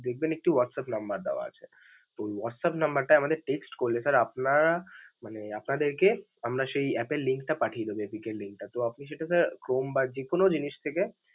দেখবেন একটি WhatsApp দেওয়া আছে, ওই WhatsApp টায় আমাদের text করলে sir আপনারা মানে আপনাদেরকে আমরা সেই app এর link টা পাঠিয়ে দিব APK এর link টা. তো আপনি যেহেতু sir Chrome বা যেকোন জিনিস থেকে.